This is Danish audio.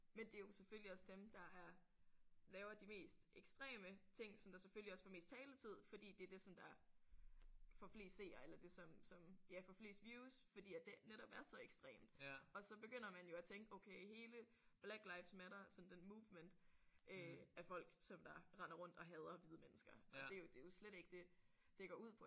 Men det er jo selvfølgelig også dem der er laver de mest ekstreme ting som der selvfølgelig også får mest taletid fordi det er det som der får flest seere eller det som som ja får flest views fordi at det netop er så ekstremt og så begynder man jo at tænke okay hele Black Lives Matter sådan den movement øh er folk som der render rundt og hader hvide mennesker og det er jo det er jo slet ikke det det går ud på